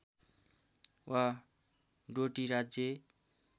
वा डोटी राज्य